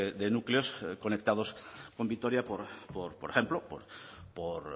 de núcleos conectados con vitoria por ejemplo por